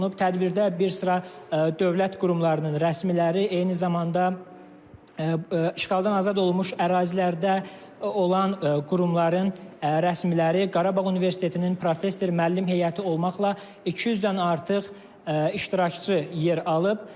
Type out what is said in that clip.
Tədbirdə bir sıra dövlət qurumlarının rəsmiləri, eyni zamanda işğaldan azad olunmuş ərazilərdə olan qurumların rəsmiləri, Qarabağ Universitetinin professor-müəllim heyəti olmaqla 200-dən artıq iştirakçı yer alıb.